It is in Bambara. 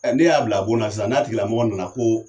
n'e y'a bila bon na sisan, n'a tigilamɔgɔ nana ko